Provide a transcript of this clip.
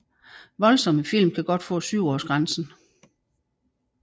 Voldsomme film kan godt få 7 års grænsen